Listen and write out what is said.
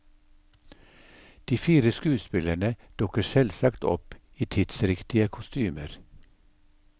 De fire skuespillerne dukker selvsagt opp i tidsriktige kostymer.